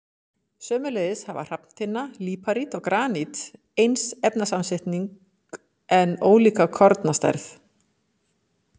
Sömuleiðis hafa hrafntinna, líparít og granít eins efnasamsetning en ólíka kornastærð.